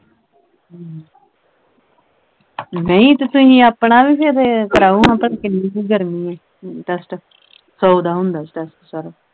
ਹਮ ਨਹੀਂ ਤੇ ਤੁਹੀ ਆਪਣਾ ਵੀ ਫਿਰ ਕਰਵਾਓ ਭਲ ਕਿੰਨੀ ਕੁ ਗਰਮੀ ਐ test ਸੌ ਦਾ ਹੁੰਦਾ test ਸਾਰਾ